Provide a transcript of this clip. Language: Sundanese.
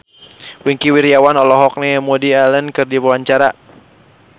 Wingky Wiryawan olohok ningali Woody Allen keur diwawancara